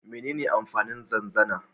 Menene amfanin zanzana?